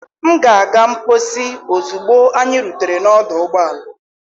M ga-aga mposi ozugbo anyị rutere n'ọdụ ụgbọala.